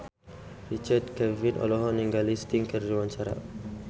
Richard Kevin olohok ningali Sting keur diwawancara